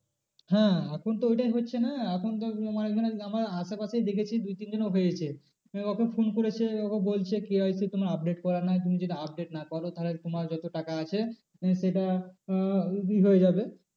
হ্যাঁ এখন তো ওটাই হচ্ছে না এখন তো তোমার ওখানে আমার আশেপাশেই দেখেছি দু তিনজনের হয়েছে। ওকে phone করেছে ওকে বলছে KYC তোমার update করা নাই তুমি যদি update না করো তাহলে তোমার যত টাকা আছে মানে সেটা আহ হয়ে যাবে।